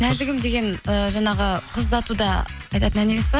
нәзігім деген ііі жаңағы қыз ұзатуда айтатын ән емес пе